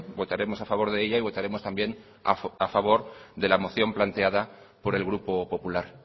votaremos a favor de ella y votaremos también a favor de la moción planteada por el grupo popular